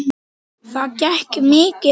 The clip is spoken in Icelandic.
Það gekk mikið á.